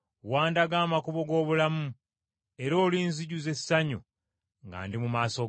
Wandaga amakubo g’obulamu, era olinzijuza essanyu nga ndi mu maaso go.’